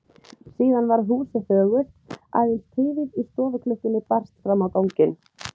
Síðan varð húsið þögult, aðeins tifið í stofuklukkunni barst fram á ganginn.